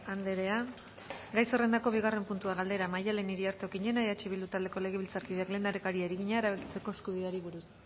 andrea gai zerrendako bigarren puntua galdera maddalen iriarte okiñena eh bildu taldeko legebiltzarkideak lehendakariari egina erabakitzeko eskubideari buruz